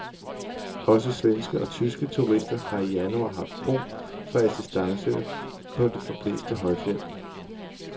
Også svenske og tyske turister har i januar haft brug for assistance på det forblæste højfjeld.